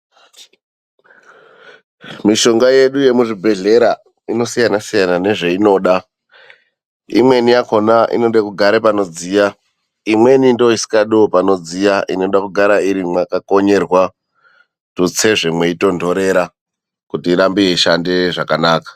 Mishonga yedu yemuzvibhedhlera inosiyana-siyana nezveinoda. Imweni yakhona inode kugare panodziya, imweni ndiyo isikadiwo panodziya inoda kugara iri mwakakonyerwa. Tutsezve mweitondorera kuti irambe yeishande zvakanaka.